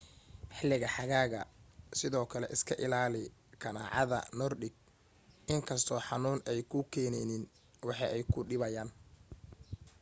xiliga xagaaga sidoo kale iska ilaali kanaacada nordic inkastoo xanuun ay kuu keeneynin way ku dhibayaan